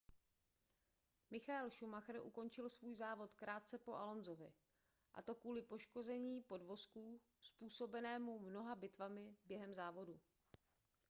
michael schumacher ukončil svůj závod krátce po alonsovi a to kvůli poškození podvozku způsobenému mnoha bitvami během závodu